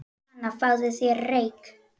Hana, fáðu þér reyk